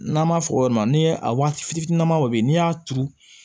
N'an b'a fɔ o yɔrɔ ma n'i ye a waati fitininbaw bɛ yen n'i y'a turu